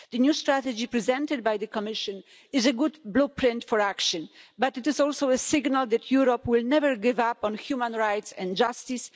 The new strategy presented by the Commission is a good blueprint for action, but it is also a signal that Europe will never give up on human rights and justice.